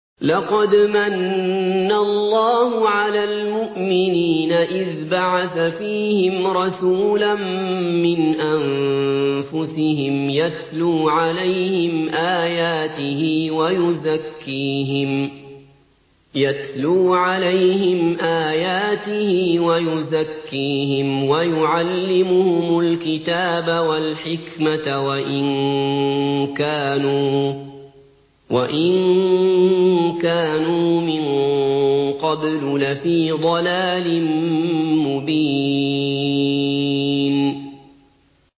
لَقَدْ مَنَّ اللَّهُ عَلَى الْمُؤْمِنِينَ إِذْ بَعَثَ فِيهِمْ رَسُولًا مِّنْ أَنفُسِهِمْ يَتْلُو عَلَيْهِمْ آيَاتِهِ وَيُزَكِّيهِمْ وَيُعَلِّمُهُمُ الْكِتَابَ وَالْحِكْمَةَ وَإِن كَانُوا مِن قَبْلُ لَفِي ضَلَالٍ مُّبِينٍ